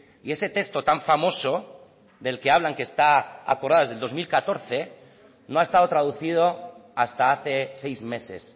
y ese texto tan famoso del que hablan que está aprobado desde el dos mil catorce no ha estado traducido hasta hace seis meses